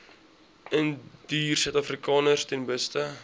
indiërsuidafrikaners ten beste